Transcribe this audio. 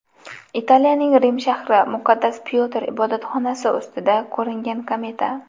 Italiyaning Rim shahri, muqaddas Pyotr ibodatxonasi ustida ko‘ringan kometa.